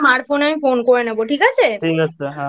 Phone এ আমি Phone করে নেব ঠিক আছে?